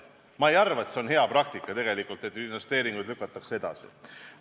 Tegelikult ma ei arva, et see on hea praktika, kui investeeringuid lükatakse edasi.